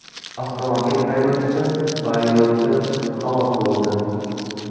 Avtomobil haydovchisi va yo‘lovchi halok bo‘ldi.